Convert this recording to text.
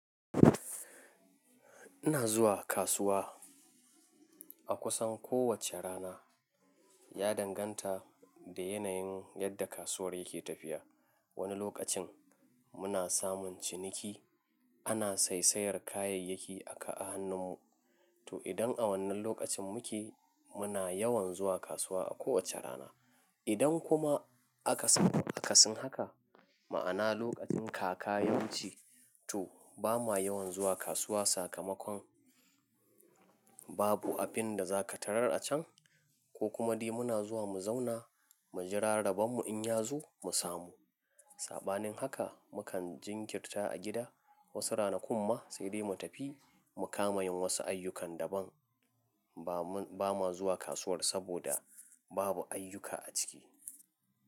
Ina zuwa kasuwa, a kusan kowace rana, ya danganta, da yanayin yadda kasuwar yake tafiya. Wani lokacin, muna samun ciniki, ana saisayar kayayyaki aka a hannun mu, to idan a wannan lokacin muke, muna yawan zuwa kasuwa a kowace rana. Idan kuma, aka samu kasin haka, ma'ana lokacin kaka yawanci, to bamu ha yawan zuwa kasuwa sakamakon, babu abin da za ka tarar a can ko kuma dai muna zuwa mu zauna, mu jira rabon mu in ya zo, mu samu. Saɓanin haka, mukan jinkirta a gida, wasu rana kuma, sai dai mu tafi, mu kamani wasu ayyukan daban. Ba ma, ba ma zuwa kasuwar saboda, babu ayyuka a ciki.